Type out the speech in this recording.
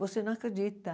Você não acredita.